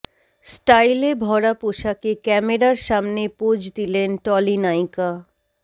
স্টাইলে ভরা পোশাকে ক্যামেরার সামনে পোজ দিলেন টলি নায়িকা